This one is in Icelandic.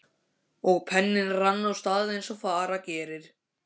Og penninn rann af stað eins og fara gerir.